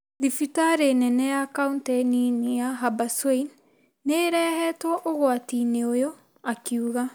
Thibitarĩ nene ya Kauntĩ nini ya Habaswein nĩ ĩrĩhetwo ũgwati-inĩ ũyũ ,akiuga.